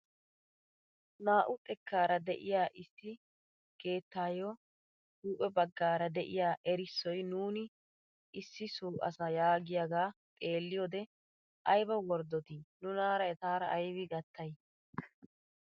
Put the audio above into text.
Naa"u xekkaara de'iyaa issi keettaayo huuphphe baggaara de'iyaa erissoy nuuni issi so asa yaagiyaagaa xeelliyoode ayba worddotii nunaara etaara aybi gattay!